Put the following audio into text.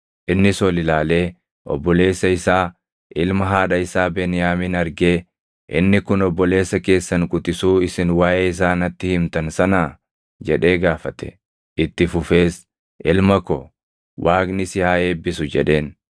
Innis ol ilaalee obboleessa isaa, ilma haadha isaa Beniyaamin argee, “Inni kun obboleessa keessan quxisuu isin waaʼee isaa natti himtan sanaa?” jedhee gaafate. Itti fufees, “Ilma ko, Waaqni si haa eebbisu” jedheen.